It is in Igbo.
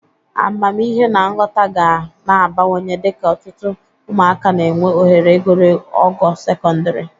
Amamihe na nghọta ga na-abawanye dịka ụtụtụ ụmụaka na-enwe ohere iguru ogo sekọndịrị